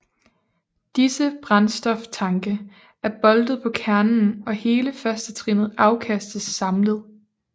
Disse brændstoftanke er boltet på kernen og hele førstetrinnet afkastes samlet